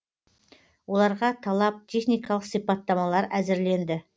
оларға талап техникалық сипаттамалар әзірленді